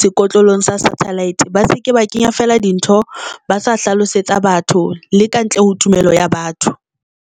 sekotlolong satellite ba se ke ba kenya fela dintho ba sa hlalosetsa batho le ka ntle ho tumelo ya batho.